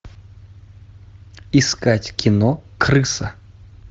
искать кино крыса